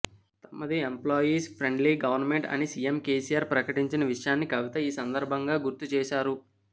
తమది employees friendly government అని CM KCR ప్రకటించిన విషయాన్ని కవిత ఈసందర్బంగా గుర్తు చేశారు